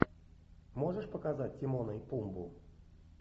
можешь показать тимона и пумбу